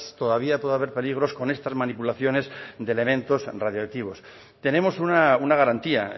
todavía puede haber peligros con estas manipulaciones de elementos radiactivos tenemos una garantía